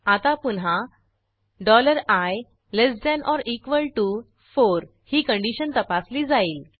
आता पुन्हा i4 ही कंडिशन तपासली जाईल